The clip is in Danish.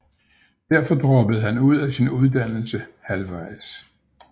Derfor droppede han ud af sin uddannelse halvvejs